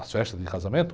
As festas de casamento?